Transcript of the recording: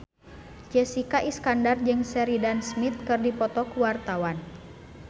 Jessica Iskandar jeung Sheridan Smith keur dipoto ku wartawan